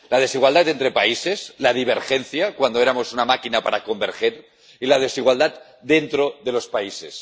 La desigualdad entre países, la divergencia —cuando éramos una máquina para converger― y la desigualdad dentro de los países.